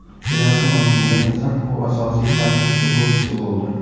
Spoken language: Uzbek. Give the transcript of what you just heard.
Kelasi mavsumdan esa u asosiy tarkib futbolchisi bo‘ldi.